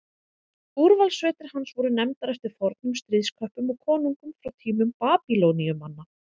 Úrvalssveitir hans voru nefndar eftir fornum stríðsköppum og konungum frá tímum Babýloníumanna.